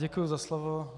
Děkuji za slovo.